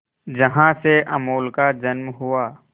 जहां से अमूल का जन्म हुआ